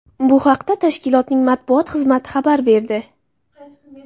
Bu haqda tashkilotning matbuot xizmati xabar berdi.